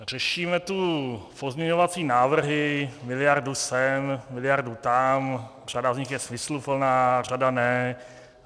Řešíme tu pozměňovací návrhy, miliardu sem, miliardu tam, řada z nich je smysluplná, řada ne.